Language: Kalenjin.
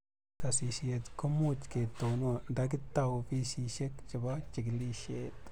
sasishet ko much ketonon nda kitau ofisishek chebo chikilishet